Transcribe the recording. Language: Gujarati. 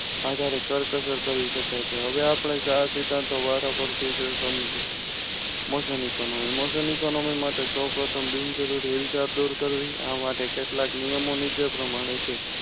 આજ કરકસર કરી શકાય છે. હવે આપણે સારા સિદ્ધાંતો વારાફરતી જોઈશું. mausam economy mausam economy માટે સૌપ્રથમ બિનજરૂરી હિલ ચાપ દૂર કરવી. આ માટે કેટલાક નિયમોની નીચે પ્રમાણે છે.